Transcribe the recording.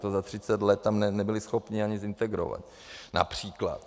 To za 30 let tam nebyli schopni ani zintegrovat, například.